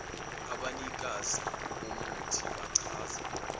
abanikazi bomuthi bachaza